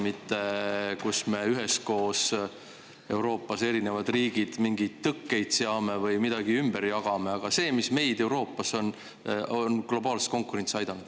Mitte selliseid, kus me, erinevad riigid Euroopas, üheskoos mingeid tõkkeid seame või midagi ümber jagame, vaid selliseid, mis on Euroopat globaalses konkurentsis aidanud.